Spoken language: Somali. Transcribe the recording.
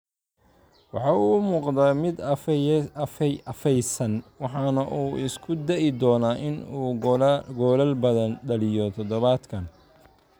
Waxa uu u muuqday mid afaysan waxana uu isku dayi doonaa in uu goolal badan dhaliyo todobaadkan.